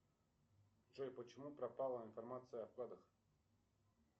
джой почему пропала информация о вкладах